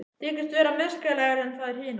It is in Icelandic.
Þykist vera merkilegri en þær hinar.